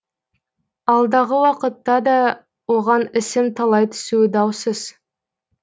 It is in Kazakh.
алдағы уақытта да оған ісім талай түсуі даусыз